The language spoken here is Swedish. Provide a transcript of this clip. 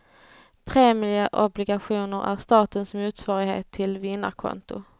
Premieobligationer är statens motsvarighet till vinnarkonto.